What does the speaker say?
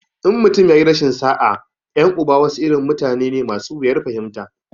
In mutum ya yi rashin sa'a, 'yan uba wasu irin mutane ne masu wuyar fahimta.